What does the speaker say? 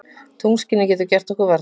Tunglskinið getur gert okkur varnarlaus.